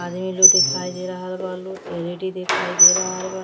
आदमी लोग दिखाई दे रहल बालो। एल.ई.डी दिखाई दे रहल बा।